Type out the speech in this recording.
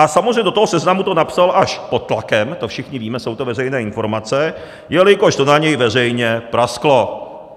A samozřejmě do toho seznamu to napsal až pod tlakem, to všichni víme, jsou to veřejné informace, jelikož to na něj veřejně prasklo.